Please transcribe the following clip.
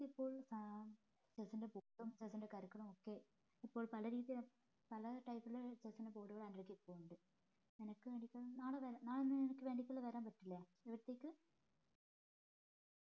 ഇപ്പോൾ ഏർ chess ന്റെ book ഉം chess കരുക്കളൊക്കെ ഇപ്പോൾ പലരീതിയിൽ പല type ല് നാളെ നാളെ നിനക്ക് വേണ്ടീട്ട് വരാൻ പറ്റില്ലേ വീട്ടിലേക്ക്